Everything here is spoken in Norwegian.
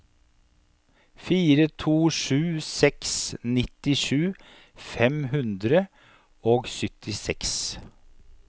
fire to sju seks nittisju fem hundre og syttiseks